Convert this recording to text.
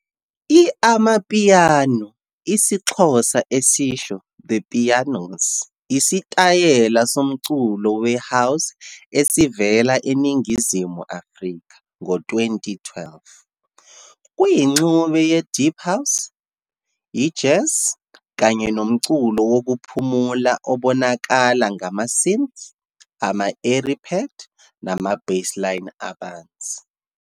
I-Amapiano, isiXhosa esisho "the pianos ", isitayela somculo we-house esavela eNingizimu Afrika ngo-2012. Kuyingxube ye-deep house, i-jazz kanye nomculo wokuphumula obonakala ngama-synths, ama-airy pad nama-bassline abanzi.